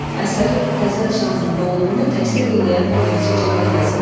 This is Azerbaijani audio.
Əsərin qəzəl janrında olduğunu təsdiq eləyən bir neçə cəhət yazın.